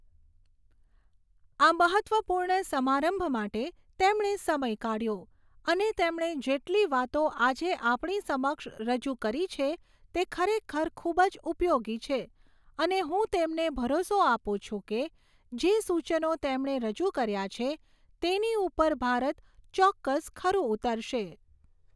આ મહત્ત્વપૂર્ણ સમારંભ માટે તેમણે સમય કાઢ્યો અને તેમણે જેટલી વાતો આજે આપણી સમક્ષ રજૂ કરી છે તે ખરેખર ખૂબ જ ઉપયોગી છે અને હું તેમને ભરોસો આપું છું કે જે સૂચનો તેમણે રજૂ કર્યા છે તેની ઉપર ભારત ચોક્કસ ખરું ઉતરશે.